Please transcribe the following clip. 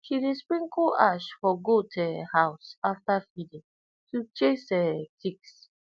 she dey sprinkle ash for goat um house after feeding to chase um ticks